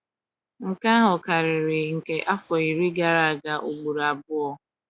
“ Nke ahụ karịrị nke afọ iri gara aga ụgboro abụọ. ”